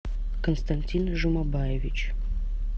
константин жумабаевич